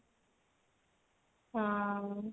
ହଁ